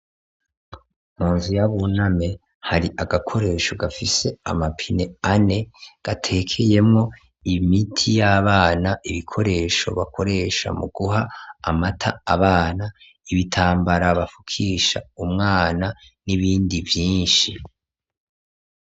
Mu nzu ya Buname hari agakoresho gafise amapine ane gatekeyemwo imiti y'abana, ibikoresho bakoresha mu guha amata abana, ibitambara bafukisha umwana n'ibindi vyinshi.